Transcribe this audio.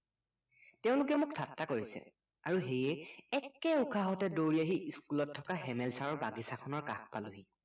তেওঁলোকে মোক ঠাট্টা কৰিছে আৰু সেয়ে একে উশাহতে দৌৰি আহি school ত থকা হেমেল চাৰৰ বাগিছাখনৰ কাষ পালোহি